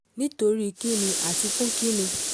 nítorí kín ni àti fún kín ni